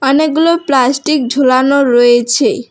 অনেকগুলো প্লাস্টিক ঝোলানো রয়েছে।